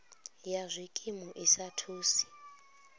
ya zwikimu ḽi sa thusi